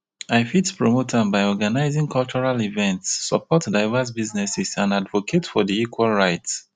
i fit promote am by organizing cultural events support diverse businesses and advocate for di equal rights.